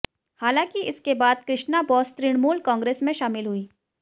हालांकि इसके बाद कृष्णा बोस तृणमूल कांग्रेस में शामिल हुईं